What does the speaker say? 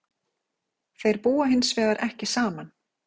Þeir búa hins vegar ekki saman